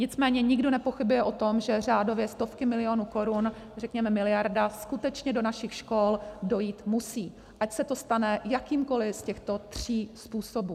Nicméně nikdo nepochybuje o tom, že řádově stovky milionů korun, řekněme miliarda, skutečně do našich škol dojít musí, ať se to stane jakýmkoli z těchto tří způsobů.